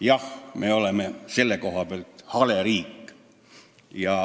Jah, me oleme selle koha pealt hale riik.